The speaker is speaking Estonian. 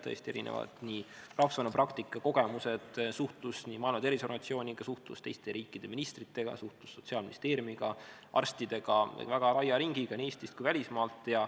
Tõesti, erinev rahvusvaheline praktika, kogemused, suhtlus Maailma Terviseorganisatsiooniga, suhtlus teiste riikide ministritega, suhtlus Sotsiaalministeeriumiga, arstidega, väga laia ringiga nii Eestist kui välismaalt.